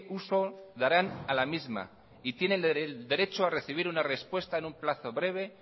uso darán a la misma y tienen el derecho a recibir una respuesta en un plazo breve